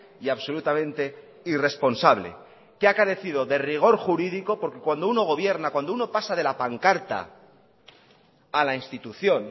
y absolutamente irresponsable que ha carecido de rigor jurídico porque cuando uno gobierna cuando uno pasa de la pancarta a la institución